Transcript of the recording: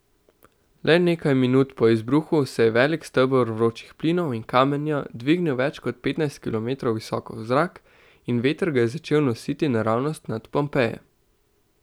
Le nekaj minut po izbruhu se je velik steber vročih plinov in kamenja dvignil več kot petnajst kilometrov visoko v zrak in veter ga je začel nositi naravnost nad Pompeje.